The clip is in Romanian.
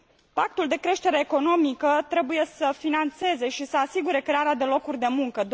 Pactul de creștere economică trebuie să finanțeze și să asigure crearea de locuri de muncă.